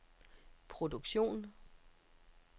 produktion